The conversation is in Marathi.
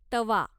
तवा